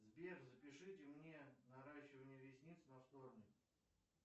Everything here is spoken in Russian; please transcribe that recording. сбер запишите мне наращивание ресниц на вторник